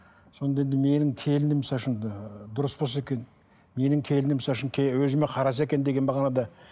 сонда енді менің келінім ы дұрыс болса екен менің келінім өзіме қараса екен деген мағынада